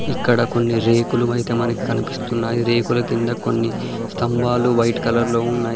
ఇక్కడ కొన్ని రేకులు అయితే మనకి కనిపిస్తున్నాయి. రేకుల కింద కొన్ని స్తంభాలు వైట్ కలర్ లో ఉన్నాయి.